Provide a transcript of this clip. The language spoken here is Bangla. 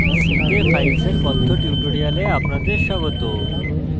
c তে files এর কথ্য tutorial আপনাদের স্বাগত